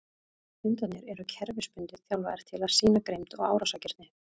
Hundarnir eru kerfisbundið þjálfaðir til að sýna grimmd og árásargirni.